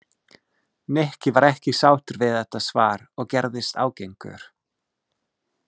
Nikki var ekki sáttur við þetta svar og gerðist ágengur.